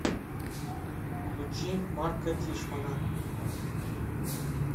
включи марка тишмана